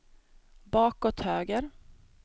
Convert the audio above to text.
bakåt höger